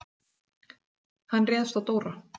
Hann réðst á Dóra.